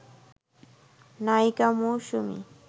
নায়িকা মৌসুমী